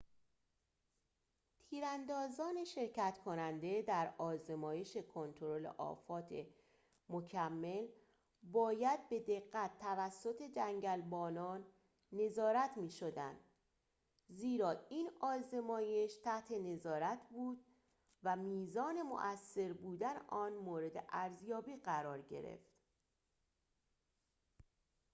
تیراندازان شرکت کننده در آزمایش کنترل آفات مکمل باید به دقت توسط جنگلبانان نظارت می‌شدند زیرا این آزمایش تحت نظارت بود و میزان موثر بودن آن مورد ارزیابی قرار گرفت